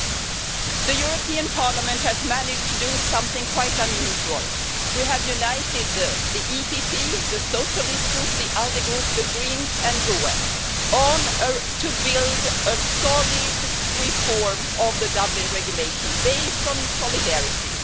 Madam President, the European Parliament has managed to do something quite unusual we have united the EPP, the Socialist Group, the ALDE Group, the Greens and the GUE Group to build a solid reform of the Dublin Regulation, based on solidarity.